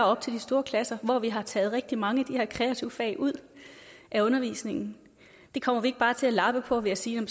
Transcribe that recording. op til de store klasser hvor vi har taget rigtig mange af de her kreative fag ud af undervisningen kommer vi ikke bare til at lappe på ved at sige